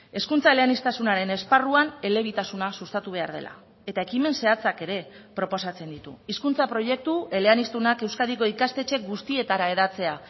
hezkuntza eleaniztasunaren esparruan elebitasuna sustatu behar dela eta ekimen zehatzak ere proposatzen ditu hizkuntza proiektu eleaniztunak euskadiko ikastetxe guztietara hedatzea